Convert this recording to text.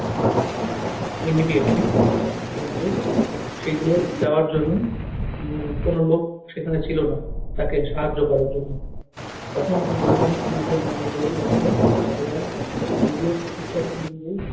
immediately কিন্তু সেগুলো দেওয়ার জন্য উহ কোনো লোক সেখানে ছিল না তাকে সাহায্য করার জন্য তখন সেই বৈজ্ঞানিক টি নিজের মনের জোর রাখলেন এবং নিজের চিকিৎসা তিনি নিজেই